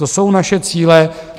To jsou naše cíle.